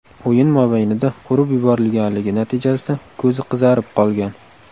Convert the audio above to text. o‘yin mobaynida urib yuborilganligi natijasida ko‘zi qizarib qolgan.